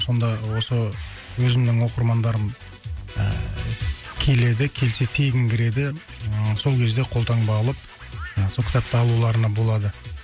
сонда осы өзімнің оқырмандарым ыыы келеді келсе тегін кіреді ыыы сол кезде қолтаңба алып ы сол кітапты алуларына болады